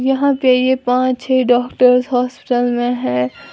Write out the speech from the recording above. यहां पे ये पांच छे डॉक्टर हॉस्पिटल में है।